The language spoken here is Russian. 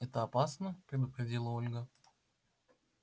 это опасно предупредила ольга